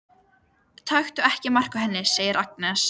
Taktu ekki mark á henni, segir Agnes.